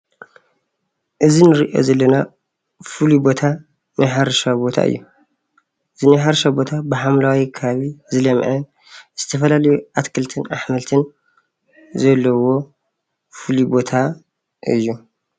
እዚ እንሪኦ ዘለና ፍሉይ ቦታ ናይ ሕርሻ ቦታ እዩ፣ እዚ ናይ ሕርሻ ቦታ ብሓምለዋይ ከባቢ ዝለምዐ ዝተፈላለየ ኣትክልትን ኣሕምልትን ዘለዎ ፍሉይ ቦታ እዩ፡፡